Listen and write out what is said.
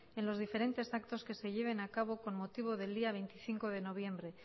en los diferentes actos que se lleven a cabo con motivo del día veinticinco de noviembre